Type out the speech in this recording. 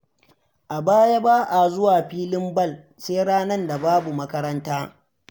A baya ba a zuwa filin ball sai ranar da babu makaranta.